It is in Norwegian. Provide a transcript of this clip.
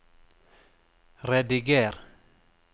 rediger